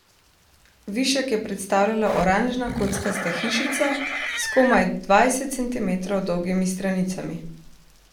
Višek je predstavljala oranžna kockasta hišica s komaj dvajset centimetrov dolgimi stranicami.